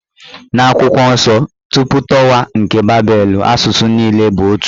N'akwụkwọ nsọ, tupu tawa nke babelu, asụsụ niile bụ otu.